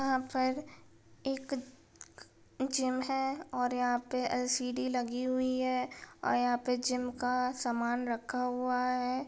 यहाँ पर एक जिम है और यहाँ पे सीढ़ी लगी हुई है और यहाँ पे जिम का समान रखा हुआ है।